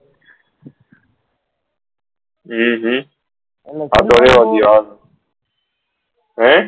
હમ હમ હમ